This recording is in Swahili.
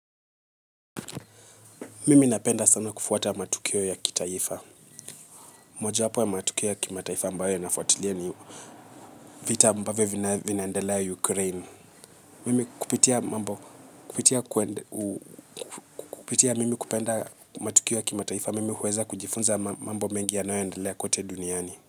Mimi napenda sna kufuatili. Mojawapo ya matukio ya kitaifa ambayo nafuatilia ni vita ambavyo vinaendelea ukraine. Mimi kupitia mambo kupitia kwenda kupitia mimi kupenda matukio ya kimataifa mimi huweza kujifunza mambo mengi ya nayoendelea kote duniani.